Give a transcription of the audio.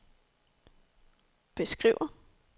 beskriver